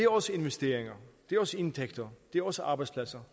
også investeringer det er også indtægter det er også arbejdspladser